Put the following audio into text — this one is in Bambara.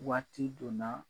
Waati don na